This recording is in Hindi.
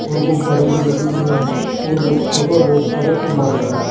और गुब्बारे भी लगे हुए हैं और बच्चों का बहुत सारा सामान है।